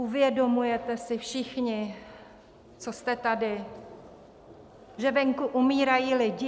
Uvědomujete si všichni, co jste tady, že venku umírají lidi?